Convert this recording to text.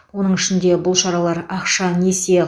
оның ішінде бұл шаралар ақша несие